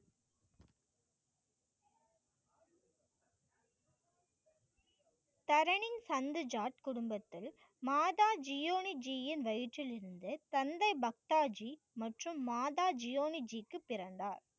தரணி சந்து ஜார்ஜ் குடும்பத்தில் மாதா ஜியோனி ஜியின் வயிற்றிலிருந்து தந்தை பக்தாஜி மற்றும் மாதா ஜியோனி ஜிக்கும் பிறந்தார்.